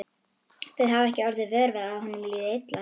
Þið hafið ekki orðið vör við að honum liði illa?